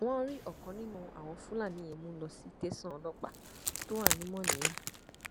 wọn rí ọkan nínú àwọn fúlàní yẹn mú lọ sì tẹsán ọlọpàá tó wà ní mòníyà